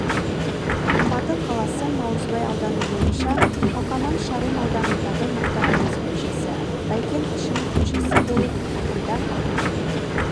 алматы қаласы наурызбай ауданы бойынша қалқаман шағын ауданындағы мұхтар әуезов көшесі бәйкен әшімов көшесі болып қайта